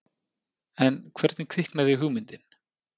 En hvernig kviknaði hugmyndin?